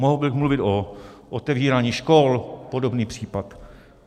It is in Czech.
Mohl bych mluvit o otevírání škol, podobný případ.